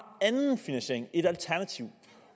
anden finansiering et alternativ